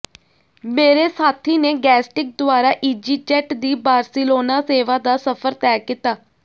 ਮੇਰੇ ਸਾਥੀ ਨੇ ਗੈਸਟਿਕ ਦੁਆਰਾ ਈਜ਼ੀਜੈਟ ਦੀ ਬਾਰ੍ਸਿਲੋਨਾ ਸੇਵਾ ਦਾ ਸਫ਼ਰ ਤੈਅ ਕੀਤਾ